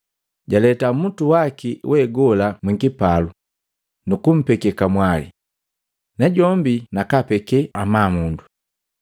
jaleta mmutu waki we gola mwikipalo nukumpeke kamwali, najombi nakapekee amabu.